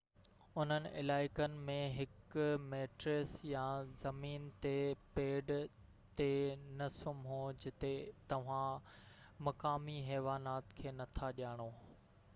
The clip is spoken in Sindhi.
انهن علائقن ۾ هڪ ميٽريس يا زمين تي پيڊ تي نه سمهو جتي توهان مقامي حيوانات کي نٿا ڄاڻو